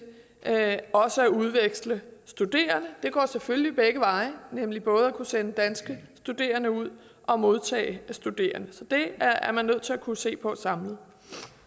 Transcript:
at udveksle studerende det går selvfølgelig begge veje nemlig både at kunne sende danske studerende ud og modtage studerende så det er man nødt til at kunne se på samlet